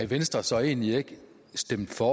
venstre så egentlig ikke stemt for